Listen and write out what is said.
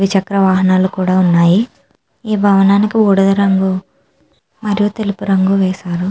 ద్వి చక్ర వాహనాలు కూడా ఉన్నాయి ఈ భవనానికి బూడిద రంగు మరియు తెలుపు రంగు వేశారు .